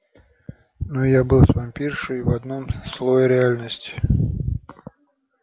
но я был с вампиршей в одном слое реальности